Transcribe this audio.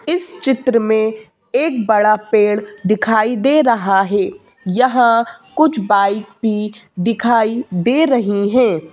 इस चित्र में एक बड़ा पेड़ दिखाई दे रहा है यहां कुछ बाइक भी दिखाई दे रही है।